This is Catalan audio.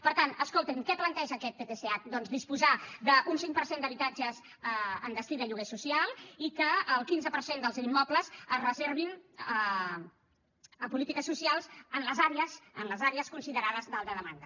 per tant escolti’m què planteja aquest ptsh doncs disposar d’un cinc per cent d’habitatges amb destí de lloguer social i que el quinze per cent dels immobles es reservin a polítiques socials en les àrees considerades d’alta demanda